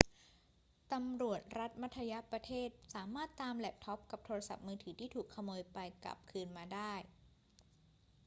ตำรวจรัฐมัธยประเทศสามารถตามแล็ปท็อปกับโทรศัพท์มือถือที่ถูกขโมยไปกลับคืนมาได้